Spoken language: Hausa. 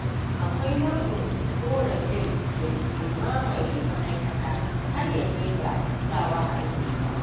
Akwai nau'in ƙorafin da ke mamaye ma'aikata har ya kai ga sawa a rufe ta